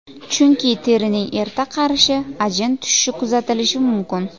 Chunki terining erta qarishi, ajin tushishi kuzatilishi mumkin.